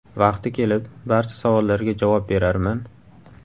Vaqti kelib, barcha savollarga javob berarman.